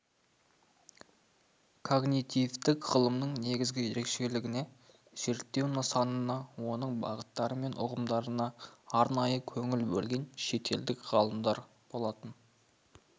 когнитивтік ғылымның негізгі ерекшелігіне зерттеу нысанына оның бағыттары мен ұғымдарына арнайы көңіл бөлген шетелдік ғалымдар болатын